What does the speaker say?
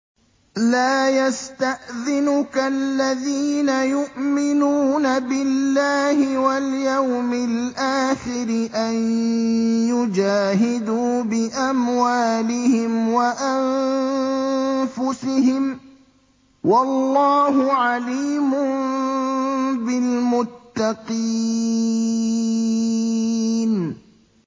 لَا يَسْتَأْذِنُكَ الَّذِينَ يُؤْمِنُونَ بِاللَّهِ وَالْيَوْمِ الْآخِرِ أَن يُجَاهِدُوا بِأَمْوَالِهِمْ وَأَنفُسِهِمْ ۗ وَاللَّهُ عَلِيمٌ بِالْمُتَّقِينَ